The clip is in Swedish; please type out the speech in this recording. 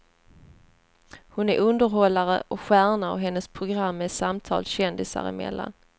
Hon är underhållare och stjärna och hennes program är samtal kändisar emellan.